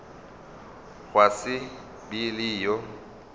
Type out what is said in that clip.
gwa se be le yo